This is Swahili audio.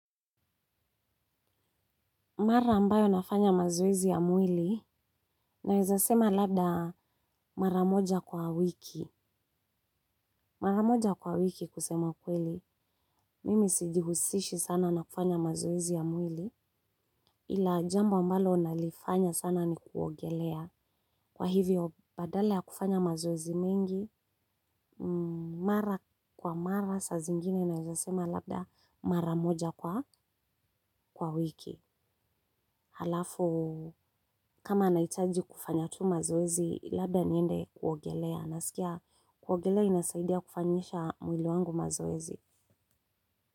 Mara ambayo nafanya mazoezi ya mwili, naweza sema labda mara moja kwa wiki. Mara moja kwa wiki kusema kweli, mimi sijihusishi sana na kufanya mazoezi ya mwili. Ila jambo ambalo nalifanya sana ni kuogelea. Kwa hivyo badala ya kufanya mazoezi mengi, mara kwa mara saa zingine naweza sema labda mara moja kwa wiki. Halafu kama nahitaji kufanya tu mazoezi labda niende kuogelea nasikia kuogelea inasaidia kufanyisha mwili wangu mazoezi.